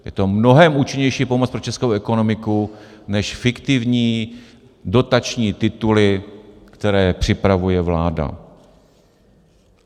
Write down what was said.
Je to mnohem účinnější pomoc pro českou ekonomiku než fiktivní dotační tituly, které připravuje vláda.